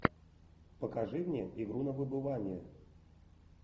покажи мне игру на выбывание